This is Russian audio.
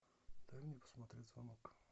дай мне посмотреть звонок